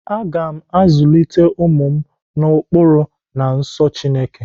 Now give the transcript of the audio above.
Aga m azulite ụmụ m n'ụkpụrụ na nsọ Chineke.